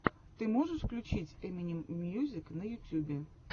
ты можешь включить эминем мьюзик на ютюбе